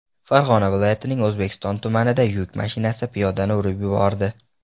Farg‘ona viloyatining O‘zbekiston tumanida yuk mashinasi piyodani urib yubordi.